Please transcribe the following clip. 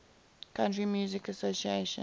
country music association